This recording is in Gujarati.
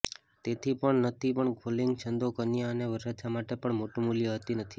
તેથી પણ નથી પણ ફોલ્ડિંગ છંદો કન્યા અને વરરાજા માટે પણ મોટું મૂલ્ય હતી નથી